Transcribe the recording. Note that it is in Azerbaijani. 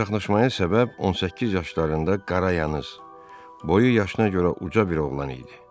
Çaxnaşmaya səbəb 18 yaşlarında qara yanlı, boyu yaşına görə uca bir oğlan idi.